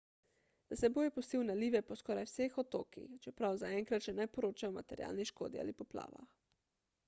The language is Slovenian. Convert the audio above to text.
za seboj je pustil nalive po skoraj vseh otokih čeprav zaenkrat še ne poročajo o materialni škodi ali poplavah